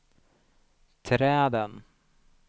träden